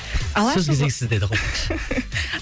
алашұлы сөз кезегі сізде